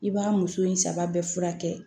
I b'a muso in saba bɛɛ furakɛ